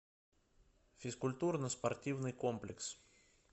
физкультурно спортивный комплекс